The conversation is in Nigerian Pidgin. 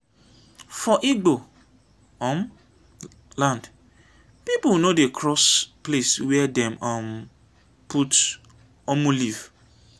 for igbo um land pipo no dey cross place were dem um put "omu" leaf.